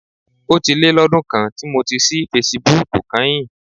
Ó ti lé lọ́dún kan tí mo ti ṣí fesibúùkù kányìn.